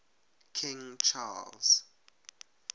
king charles